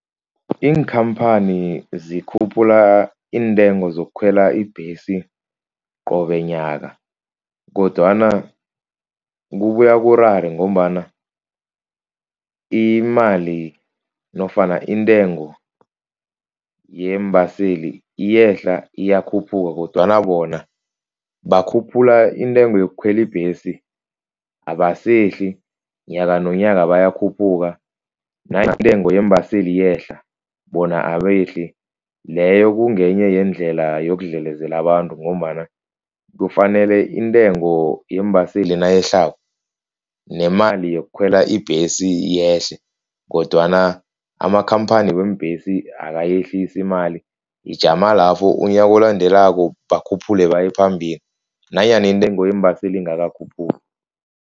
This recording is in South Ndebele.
Iinkhamphani zikhuphula iintengo zokukhwela ibhesi qobe nyaka, kodwana kubuya kurare ngombana imali nofana intengo yeembaseli iyehla, iyakhuphuka kodwana bona bakhuphula intengo yokukhwela ibhesi abasehli. Nyakanonyaka bayakhuphuka nanyana intengo yeembaseli yehla bona abehli. Leyo kungenye yeendlela yokudlalezela abantu ngombana kufanele intengo yeembaseli nayehlako nemali yokukhwela ibhesi yehle kodwana amakhamphani weembhesi akayehlisi imali. Ijama lapho unyaka olandelako bakhuphule baye phambili nanyana intengo yeembaseli ingakakhuphuki.